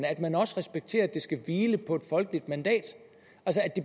at man også respekterer at det skal hvile på et folkeligt mandat